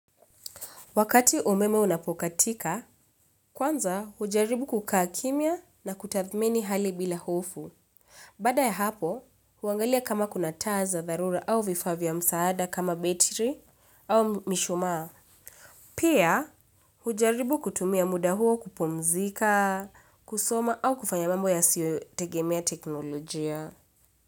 Wakati umeme unapokatika, kwanza hujaribu kukaa kimia na kutathmini hali bila hofu. Baada ya hapo, huangalia kama kuna taa za dharura au vifaa vya msaada kama betiri au mishumaa. Pia hujaribu kutumia muda huo kupumzika, kusoma au kufanya mambo ya siyo tegemea teknolojia.